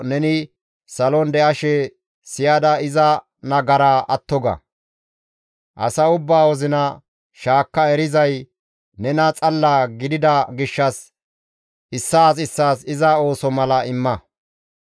neni salon de7ashe siyada iza nagaraa atto ga; asa ubbaa wozina shaakka erizay nena xalla gidida gishshas issaas issaas iza ooso mala imma.